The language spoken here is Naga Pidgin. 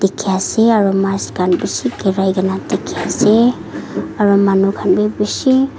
dikhi ase aro mice khan bishi girai ke na dikhi ase aru manu khan bhi bishi--